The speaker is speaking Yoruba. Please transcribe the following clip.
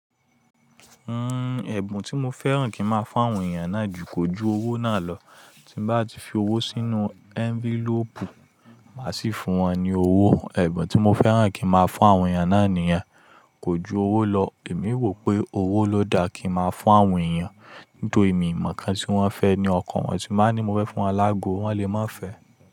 Uhm, ẹ̀bùn tí mo fẹ́ràn kí máa fún àwọn èèyàn náà jù kò ju owó náà lọ. Tí n bá ti fi owó sínú ẹ́ńfílóòpù, máa sì fún wọn ní owó. Ẹ̀bùn tí mo fẹ́ràn kí máa fún àwọn èèyàn náà nìyẹn, kò ju owó lọ. Èmi wo pé owó ló da kí máa fún àwọn èèyàn. Nítorí èmi mọ̀ nǹkan tí wọ́n fẹ́ ni ọkàn wọn, tí mln ba ní mo fẹ́ fún wọn lágo, wọ́n lè má fẹ́.